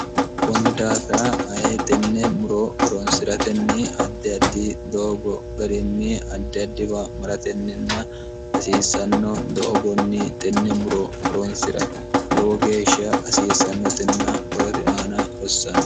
kunni daafira ayi tenne muro horonsi'ratenni addi addi doogo garinni addi addiwa maratenninna hasiissanno doogonni tenne muro horonsi'ra lowo geeshsha hasiissannotenna horote aana hossanno